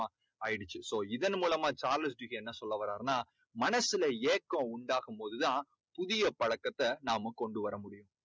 ஆயிடுச்சு. இதன் மூலமா சார்லஸ் டிக்கின்ஸ் என்ன சொல்ல வறார்னா மனசுல ஏக்கம் உண்டாகும் போதுதான் புதிய பழக்கத்தை நாம கொண்டு வர முடியும்